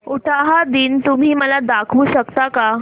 उटाहा दिन तुम्ही मला दाखवू शकता का